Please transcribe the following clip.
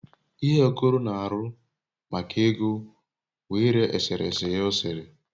ihe okoro n'aru maka ego wu ire esereye ya osere